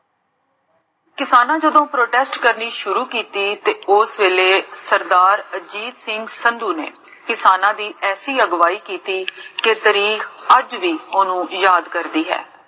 ਕਿਸਾਨਾ ਜਦੋ protest ਕਰਨੀ ਸ਼ੁਰੂ ਕੀਤੀ, ਤੇ ਓਸ ਵੇਲੇ ਸਰਦਾਰ ਰਣਜੀਤ ਸਿੰਘ ਸੰਧੂ ਨੇ, ਕਿਸਾਨਾ ਦੀ ਐਸੀ, ਅਗਵਾਈ ਕੀਤੀ, ਕੇ ਤਰੀਕ ਅੱਜ ਵੀ ਓਨੁ ਯਾਦ ਕਰਦੀ ਹੈ